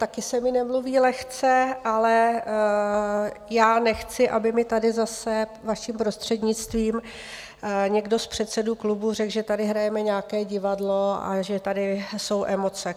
Taky se mi nemluví lehce, ale já nechci, aby mi tady zase, vaším prostřednictvím, někdo z předsedů klubů řekl, že tady hrajeme nějaké divadlo a že tady jsou emoce.